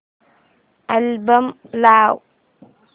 album लाव